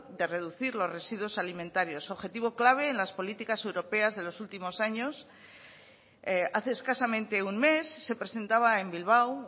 de reducir los residuos alimentarios objetivo clave en las políticas europeas de los últimos años hace escasamente un mes se presentaba en bilbao